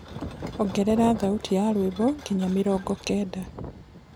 ongerera thaũtĩ ya rwĩmbo nginya mĩrongo kenda